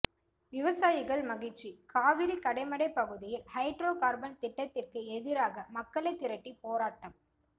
விவசாயிகள் மகிழ்ச்சி காவிரி கடைமடை பகுதியில் ஹைட்ரோ கார்பன் திட்டத்திற்கு எதிராக மக்களை திரட்டி போராட்டம்